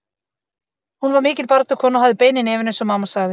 Hún var mikil baráttukona og hafði bein í nefinu eins og mamma sagði.